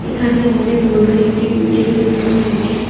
এখানে অনেক বড় একটি বিল্ডিং দেখানো হয়েছে।